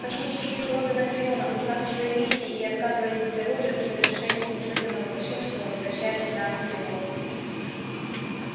космический флот анакреона узнав о своей миссии и отказываясь быть оружием в совершении неслыханного кощунства возвращается на анакреон